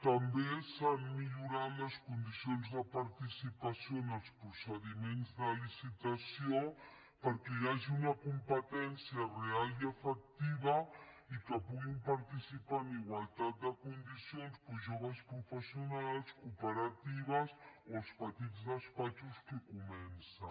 també s’han millorat les condicions de participació en els procediments de licitació perquè hi hagi una competència real i efectiva i que puguin participar en igualtat de condicions doncs joves professionals cooperatives o els petits despatxos que comencen